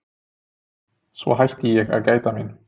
Svo hætti ég að gæta mín.